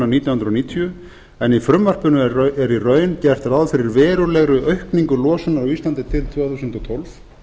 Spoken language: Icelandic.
nítján hundruð níutíu en í frumvarpinu er í raun gert ráð fyrir verulegri aukningu losunar á íslandi til tvö þúsund og tólf